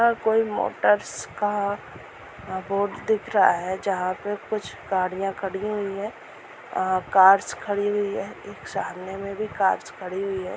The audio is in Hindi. यहाँ पर कोई मोटर्स का बोर्ड दिख रहा है जहाँ पे कुछ गाड़िया खड़ी हुई हैं अ कार्स खड़ी हुई है सामने मे भी कार्स खड़ी हुई हैं।